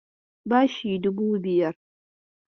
Bashi dubu biyar.